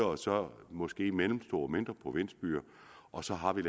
og så måske mellemstore og mindre provinsbyer og så har vi